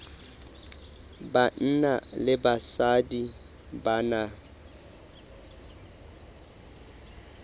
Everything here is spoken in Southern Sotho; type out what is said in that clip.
banna le basadi ba na